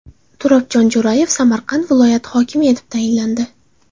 Turobjon Jo‘rayev Samarqand viloyati hokimi etib tayinlandi.